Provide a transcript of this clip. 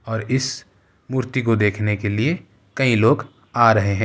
और इस मूर्ति को देखने के लिए कई लोग आ रहे हैं।